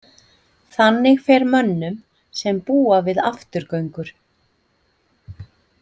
Þannig fer mönnum sem búa við afturgöngur.